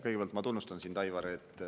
Kõigepealt ma tunnustan sind, Aivar.